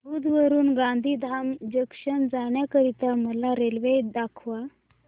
भुज वरून गांधीधाम जंक्शन जाण्या करीता मला रेल्वे दाखवा